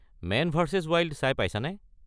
Man versus wild চাই পাইছা নে?